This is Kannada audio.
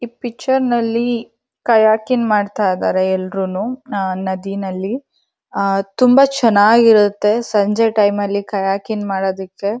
ಈ ಪಿಚ್ಚರ್ನಲ್ಲಿ ಕಯಾಕಿಂಗ್ ಮಾಡ್ತಾ ಇದ್ದಾರೆ ಎಲ್ರುನೂ ನಾ ನದಿನಲ್ಲಿ ಆ ತುಂಬ ಚೆನ್ನಾಗಿರತ್ತೆ ಸಂಜೆ ಟೈಮಲ್ಲಿ ಕಯಾಕಿಂಗ್ ಮಾಡಾದಿಕ್ಕೆ --